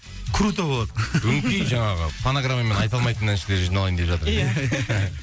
круто болады өңкей жаңағы фонограммамен айта алмайтын әншілер жиналайын деп жатыр екен ия